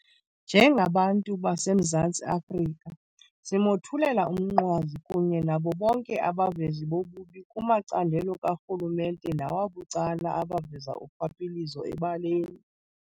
Njengabantu baseMzantsi Afrika simothulela umnqwazi kunye nabo bonke abavezi bobubi kumacandelo karhulumente nawabucala abaveza urhwaphilizo ebaleni.